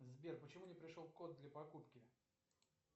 сбер почему не пришел код для покупки